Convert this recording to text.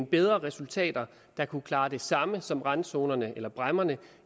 bedre resultater der kunne klare det samme som randzonerne eller bræmmerne